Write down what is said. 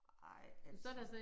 Ej altså